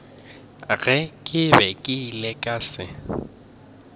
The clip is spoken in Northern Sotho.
ge ke ile ka se